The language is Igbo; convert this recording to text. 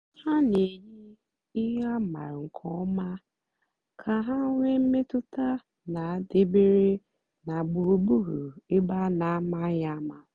ha na-èyì ihe a mààra nkè ọ̀ma kà ha nwéé mmètụ́tà na-àdabèrè na gbùrùgbùrù ébè a na-àmàghị́ àma.